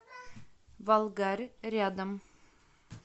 волгарь рядом